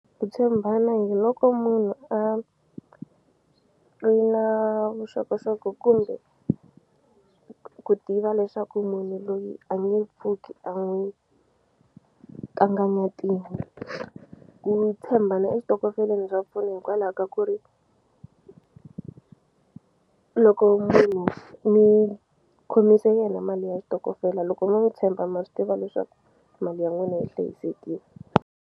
Ku tshembana hi loko munhu a ri na vuxokoxoko kumbe ku tiva leswaku munhu loyi a nge pfuki a n'wi kanganyetini ku tshembana eswitokofeleni swa pfuna hikwalaha ka ku ri loko munhu mi khomise yena mali ya xitokofela loko mi n'wu tshemba ma swi tiva leswaku mali ya n'wina yi hlayisekile.